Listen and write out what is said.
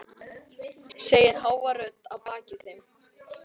segir hávær rödd að baki þeim.